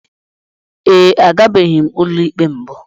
Ee, agabeghi m ụlọikpe mbụ.